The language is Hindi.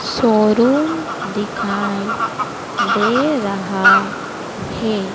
शोरूम दिखाई दे रहा हे।